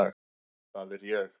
Það er ég.